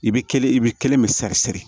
I bɛ kelen i bɛ kelen bɛ seri siri